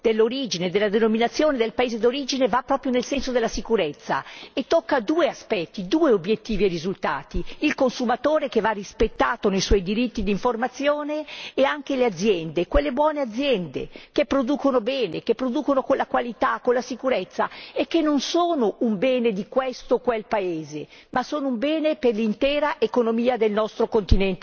Anche questo nuovo strumento dell'origine e della denominazione del paese d'origine va proprio nel senso della sicurezza, toccando due aspetti, due obiettivi e risultati il consumatore che va rispettato nei suoi diritti d'informazione e le aziende, quelle aziende virtuose che producono bene, rispettando la qualità e la sicurezza, che non sono un bene di questo o quel paese, ma